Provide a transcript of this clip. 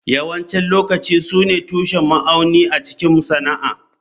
Yawancin lokaci su ne tushen ma'auni a cikin sana'a.